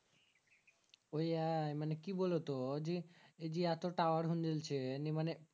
ওইয়াই মানে কি বলতো ওইজি এইজি এতো tower হুনগেলছে নি মানে